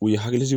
U ye hakili sigi